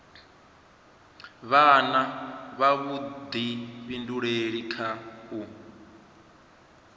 vha na vhuḓifhinduleli kha u